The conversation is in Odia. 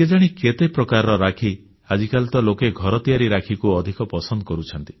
କେଜାଣି କେତେ ପ୍ରକାରର ରାକ୍ଷୀ ଆଜିକାଲି ତ ଲୋକେ ଘର ତିଆରି ରାକ୍ଷୀକୁ ଅଧିକ ପସନ୍ଦ କରୁଛନ୍ତି